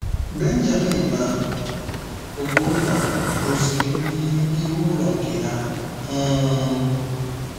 Benjamin na Ogbonna rụziri mgbidi n'ihu ụlọ nke ha. um